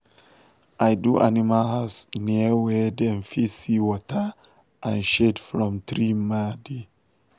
i do animal house near wer dem fit see water and shade from tree ma dey